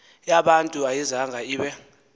yabantu ayizanga ibe